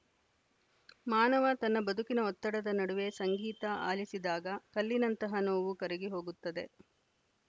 ಮಾನವ ತನ್ನ ಬದುಕಿನ ಒತ್ತಡದ ನಡುವೆ ಸಂಗೀತ ಆಲಿಸಿದಾಗ ಕಲ್ಲಿನಂತಹ ನೋವು ಕರಗಿ ಹೊಗುತ್ತದೆ